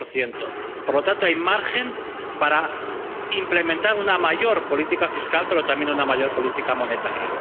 2 Por lo tanto, hay margen para implementar una mayor política fiscal, pero también una mayor política monetaria.